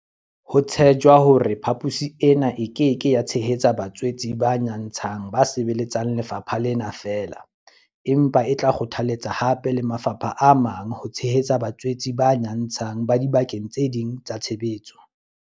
Ho tshejwa hore phaposi ena e ke ke ya tshehetsa batswetse ba nyantshang ba sebeletsang lefapha lena feela, empa e tla kgothaletsa hape le mafapha a mang ho tshehetsa batswetse ba nyatshang ba dibakeng tse ding tsa tshebetso.